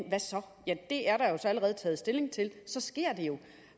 ja det er der allerede taget stilling til så sker det jo